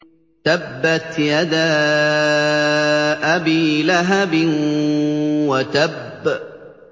تَبَّتْ يَدَا أَبِي لَهَبٍ وَتَبَّ